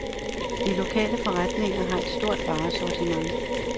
De lokale forretninger har et stort varesortiment.